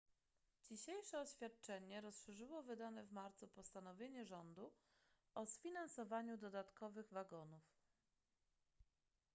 dzisiejsze oświadczenie rozszerzyło wydane w marcu postanowienie rządu o sfinansowaniu dodatkowych wagonów